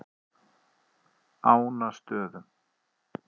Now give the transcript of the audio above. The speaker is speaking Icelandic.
Ánastöðum